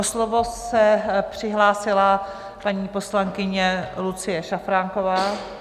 O slovo se přihlásila paní poslankyně Lucie Šafránková.